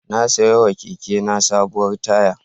Na saiwa kekena sabuwar taya.